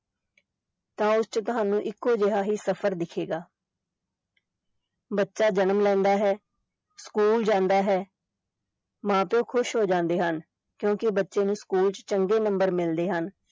ਤਾਂ ਉਸ ਚ ਤੁਹਾਨੂੰ ਇੱਕੋ ਜਿਹਾ ਹੀ ਸਫ਼ਰ ਦਿਖੇਗਾ ਬੱਚਾ ਜਨਮ ਲੈਂਦਾ ਹੈ ਸਕੂਲ ਜਾਂਦਾ ਹੈ ਮਾਂ ਪਿਓ ਖ਼ੁਸ਼ ਹੋ ਜਾਂਦੇ ਹਨ ਕਿਉਂਕਿ ਬੱਚੇ ਨੂੰ ਸਕੂਲ ਚ ਚੰਗੇ number ਮਿਲਦੇ ਹਨ।